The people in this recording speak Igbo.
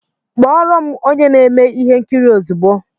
Kpọọ ro'm onye na-eme ihe nkiri ozugbo!